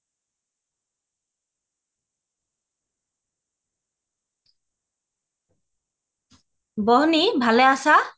বনি ভালে আছা